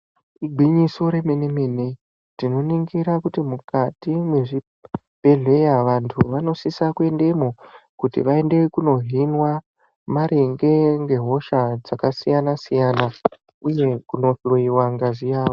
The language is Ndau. Igwinyiso remene-mene, tinoningira kuti mukati mwezvibhedhleya vantu vanosisa kuendemwo, kuti vaende kunohinwa maringe nehosha dzakasiyana-siyana, uye kunohloiwa ngazi yavo.